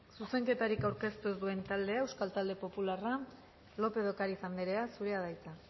zuzenketarik aurkeztu ez duen taldea euskal talde popularra lópez de ocariz anderea zurea da hitza